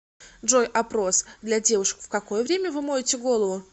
джой опрос для девушек в какое время вы моете голову